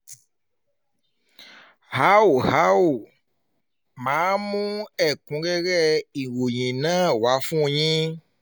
a ó a ó máa mú ẹ̀kúnrẹ́rẹ́ ìròyìn náà wá fún yín